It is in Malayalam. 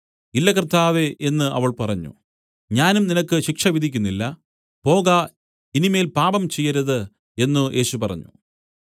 ഇല്ല കർത്താവേ എന്നു അവൾ പറഞ്ഞു ഞാനും നിനക്ക് ശിക്ഷ വിധിക്കുന്നില്ല പോക ഇനി മേൽ പാപം ചെയ്യരുത് എന്നു യേശു പറഞ്ഞു